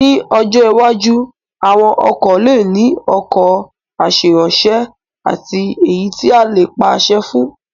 Ní ọjọ́ iwájú, àwọn ọkọ̀ lè ní ọkọ̀ aṣèrànwọ́ àti èyí tí a lè pàṣẹ fún